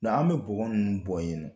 N"o tɛ, an bɛ bɔgɔ ninnu bɔ ye ninɔ.